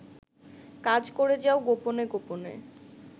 কাজ করে যাও গোপনে গোপনে